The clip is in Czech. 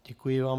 Děkuji vám.